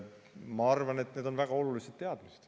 Ma arvan, et need on väga olulised teadmised.